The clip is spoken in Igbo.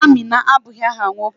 Amina abụghị áhà nwoke.